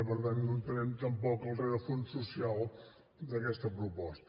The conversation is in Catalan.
per tant no entenem tampoc el rerefons social d’aquesta proposta